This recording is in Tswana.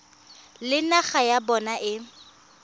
le naga ya bona e